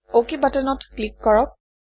অক বাটনত ক্লিক কৰক